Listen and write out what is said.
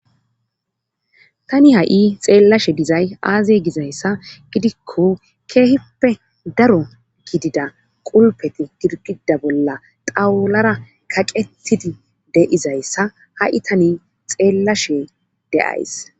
tani ha7i xeellashe dizay aaze gizayssa gidikko keehippe daro gidida qulpeti girgida bolla xawulara kaqettidi deizayssa ha7i tani xeellashe deays